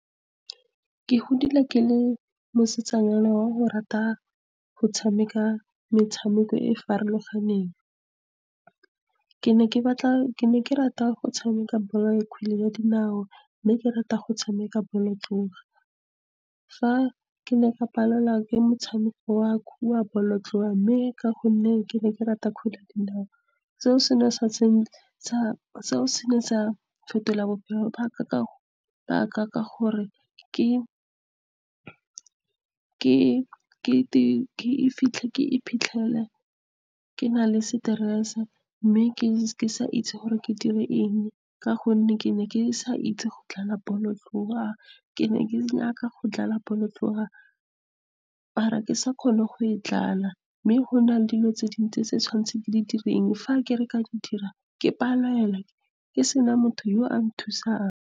Ke godile ke le mosetsanyana wa go rata go tshameka metshameko e e farologaneng. Ke ne ke rata go tshameka kgwele ya dinao, mme ke rata go tshameka bolotloa. Fa ke ne ka palelwa ke motshameko wa bolotloa, mme ka gonne ke ne ke rata kgwele ya dinao, seo se ne sa fetola bophelo jwa ka gore ke iphitlhele ke na le stress-e , mme ke sa itse gore ke dire eng ka gonne ke ne ke sa itse go dlala bolotloa. Ke ne ke batla go dlala bolotloa, mare ke sa kgone go e dlala. Mme go na le dilo tse dintsi tse ke tshwanetse ke di dire. Fa ke re ke a di dira, ke palelwa ke sena motho yo o nthusang.